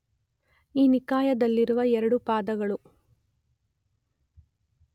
ಈ ನಿಕಾಯದಲ್ಲಿರುವ 2 ಪಾದಗಳು